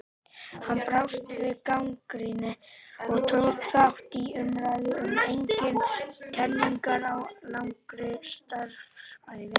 Hann brást við gagnrýni og tók þátt í umræðu um eigin kenningar á langri starfsævi.